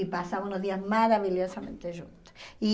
E passamos os dias maravilhosamente juntos. E